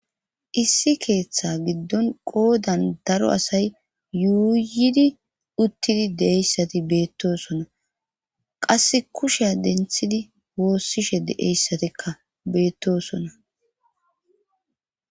Issi keeththa giddon qoodan daro asay yuuyidi uttidi deeyssati beettosona qasse kusheya denthidi woossishe deeyssatikka beettosona.